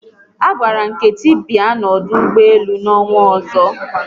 A gwara Nkechi bịa n'ọdụ ụgbọelu n'ọnwa ọzọ